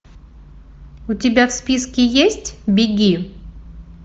у тебя в списке есть беги